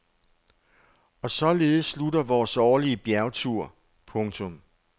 Og således slutter vores årlige bjergtur. punktum